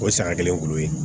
O ye saga kelen kulo ye